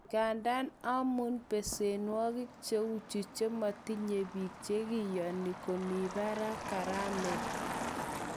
Igandan amun pesenwokik cheu chu chemotinye bik chekiyonin komi barak garamet.